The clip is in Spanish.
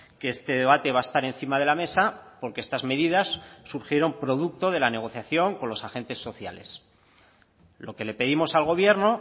que este debate va a estar encima de la mesa porque estas medidas surgieron producto de la negociación con los agentes sociales lo que le pedimos al gobierno